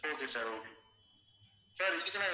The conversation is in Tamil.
okay sir okay sir இதுக்க்கு நான்